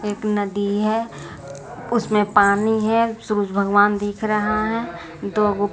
एक नदी है उसमें पानी है सूरज भगवान दिख रहा है दो--